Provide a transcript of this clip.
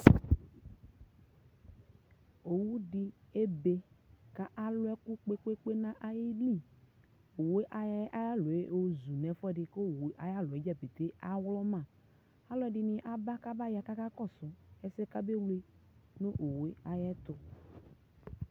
ɔwʋ di ɛbɛ kʋ alʋ ɛkʋ kpekpekpe nʋ ayidʋ, ɔwʋɛ ayɔ ayialɔ yɔzʋ nʋ ɛƒʋɛdi kʋ ɔwʋɛ ayialɔ dza awlɔma, alʋɛdini abaya kʋ aka kɔsʋ ɛsɛka bɛ wlɛ nʋ ɔwʋɛ ayɛtʋ